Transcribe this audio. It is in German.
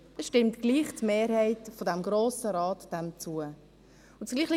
» Dann stimmt die Mehrheit des Grossen Rates dem trotzdem zu.